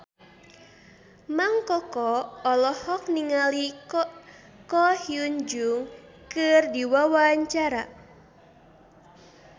Mang Koko olohok ningali Ko Hyun Jung keur diwawancara